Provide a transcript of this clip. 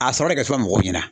A sɔrɔ de ka suma mɔgɔw ɲɛna